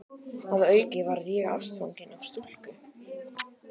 Að auki varð ég ástfanginn af stúlku.